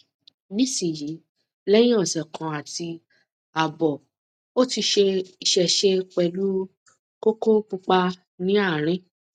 nisin yi leyin ose kan ati abo o ti isese pelu koko pupa ni arin